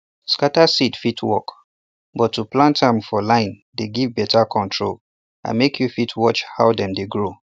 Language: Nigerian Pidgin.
scatter seed fit work but to plant am for line dey give better control and make you fit watch how dem dey grow